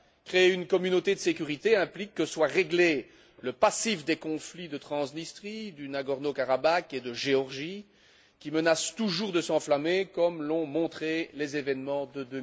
Créer une communauté de sécurité implique que soit réglé le passif des conflits de Transnistrie, du Haut Karabagh et de Géorgie, qui menacent toujours de s'enflammer, comme l'ont montré les événements de